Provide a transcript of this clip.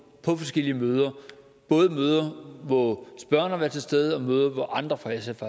på forskellige møder både møder hvor spørgeren var til stede og møde hvor andre fra sf